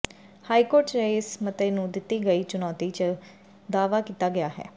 high court ਚ ਇਸ ਮਤੇ ਨੂਂ ਦਿਤੀ ਗਈ ਚੁਨੌਤੀ ਚ ਦਾਅਵਾ ਕੀਤਾ ਗਿਆ ਹੈ